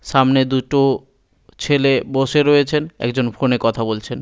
সামনে দুটো ছেলে বসে রয়েছেন একজন ফোনে কথা বলছেন।